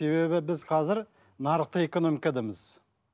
себебі біз қазір нарықтық экономикадамыз